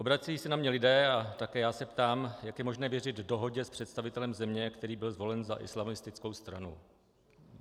Obracejí se na mě lidé a také já se ptám, jak je možné věřit dohodě s představitelem země, který byl zvolen za islamistickou stranu.